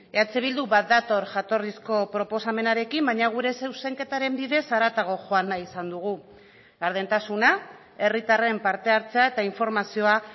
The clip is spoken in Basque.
eh bildu bat dator jatorrizko proposamenarekin baina gure zuzenketaren bidez haratago joan nahi izan dugu gardentasuna herritarren parte hartzea eta informazioa